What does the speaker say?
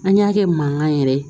An y'a kɛ mankan yɛrɛ ye